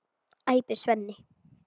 æpir Svenni.